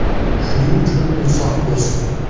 Shuning uchun insof bersin.